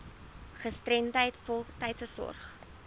gestremdheid voltydse sorg